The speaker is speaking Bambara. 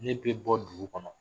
Ne bɛ bɔ dugu kɔnɔ